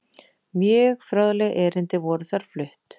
Mörg fróðleg erindi voru þar flutt.